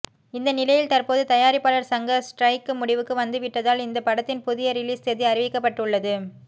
இந்த நிலையில் தற்போது தயாரிப்பாளர் சங்க ஸ்டிரைக் முடிவுக்கு வந்துவிட்டதால் இந்த படத்தின் புதிய ரிலீஸ் தேதி அறிவிக்கப்பட்டுள்ளது